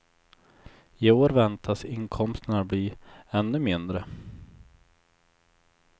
I år väntas inkomsterna bli ännu mindre.